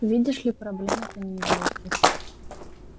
видишь ли проблема-то не из лёгких